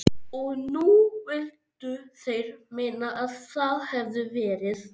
Og nú vildu þeir meina að það hefðu verið